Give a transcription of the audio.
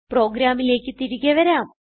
പ്രോഗ്രാമിലേക്ക് തിരികെ വരാം